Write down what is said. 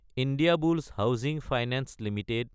Indiabulls housing finance Ltd